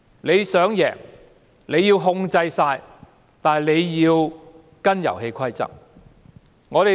他想贏，要全面操制，也得要跟隨遊戲規則。